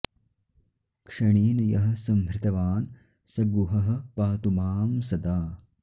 क्षणेन यः संहृतवान् स गुहः पातु मां सदा